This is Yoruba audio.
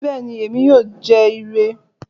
Bẹ́ẹ̀ni, èmi yóò jẹ ìrẹ̀